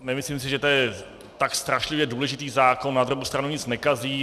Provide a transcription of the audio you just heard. Nemyslím si, že to je tak strašlivě důležitý zákon, na druhou stranu nic nekazí.